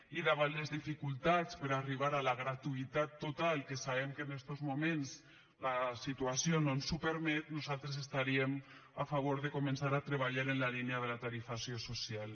i davant les dificultats per arribar a la gratuïtat total que sabem que en estos moments la situació no ens ho permet nosaltres estaríem a favor de començar a treballar en la línia de la tarifació social